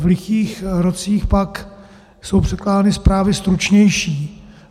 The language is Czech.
V lichých rocích pak jsou předkládány zprávy stručnější.